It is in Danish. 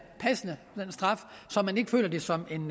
passende så man ikke føler det som en